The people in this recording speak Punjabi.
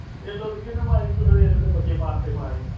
ਇੱਲ ਉਡ ਗਈ ਤੇ ਇੱਲ ਦੇ ਬੱਚੇ ਮਾਰ ਤੇ ।